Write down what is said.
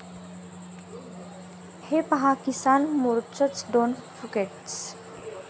हे पहा किसान मोर्चाचं ड्रोन फुटेज